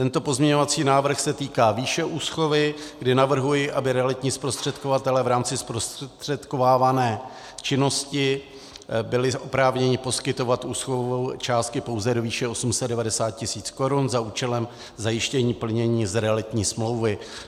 Tento pozměňovací návrh se týká výše úschovy, kdy navrhuji, aby realitní zprostředkovatelé v rámci zprostředkovávané činnosti byli oprávněni poskytovat úschovu části pouze do výše 890 tisíc korun za účelem zajištění plnění z realitní smlouvy.